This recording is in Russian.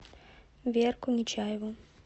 верку нечаеву